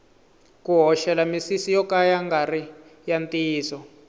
ku hoxela misisi yo ka ya ngari ya ntiyiso